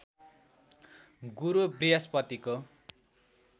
गुरु बृहस्पतिको